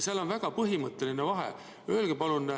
Seal on põhimõtteline vahe.